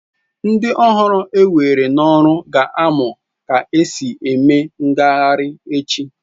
Ndị ọhụrụ ewere n'ọrụ ga-amụ ka e si eme ngagharị echi.